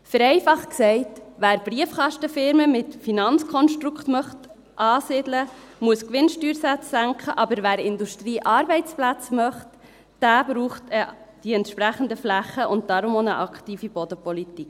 Vereinfacht gesagt: Wer Briefkastenfirmen mit Finanzkonstrukt ansiedeln möchte, muss die Gewinnsteuersätze senken, aber wer Industriearbeitsplätze möchte, braucht entsprechende Flächen und deshalb auch eine aktive Bodenpolitik.